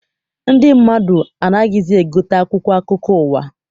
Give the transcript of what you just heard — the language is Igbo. Ndị mmadụ anaghịzi egote akwụkwọ akụkọ ụwa.